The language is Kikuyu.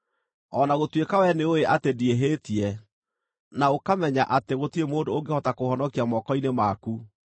o na gũtuĩka wee nĩũũĩ atĩ ndiĩhĩtie, na ũkamenya atĩ gũtirĩ mũndũ ũngĩhota kũũhonokia moko-inĩ maku?